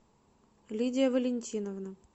лидия валентиновна